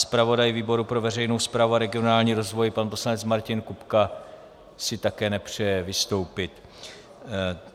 Zpravodaj výboru pro veřejnou správu a regionální rozvoj pan poslanec Martin Kupka - si také nepřeje vystoupit.